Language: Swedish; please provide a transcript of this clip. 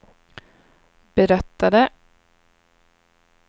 berättade